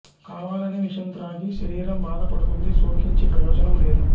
కావాలని విషం త్రాగి శరీరం బాధ పడుతుంది శోకించి ప్రయోజనం లేదు